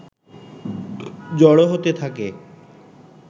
জড়ো হতে থাকে